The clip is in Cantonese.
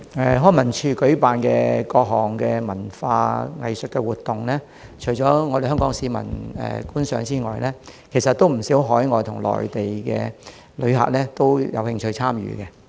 康文署舉辦多項文化藝術活動，除香港市民外，也有不少海外和內地旅客有興趣參與。